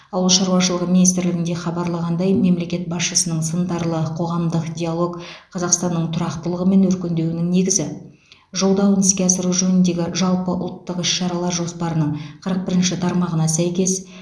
ауыл шаруашылығы министрлігінде хабарлағандай мемлекет басшысының сындарлы қоғамдық диалог қазақстанның тұрақтылығы мен өркендеуінің негізі жолдауын іске асыру жөніндегі жалпыұлттық іс шаралар жоспарының қырық бірінші тармағына сәйкес